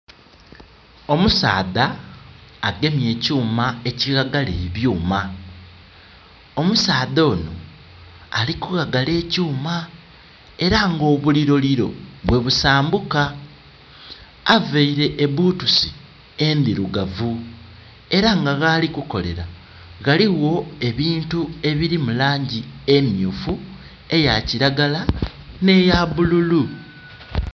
Omusaadha agemye ekyuma ekighagala ebyuma. Omusaadha ono ali kughagala ekyuma era nga obuliroliro bwe busambuka. Aveire ebutusi endirugavu era nga ghali kukolela ghaligho ebintu ebiri mu langi emyufu, eyakilagala nhe ya bululu.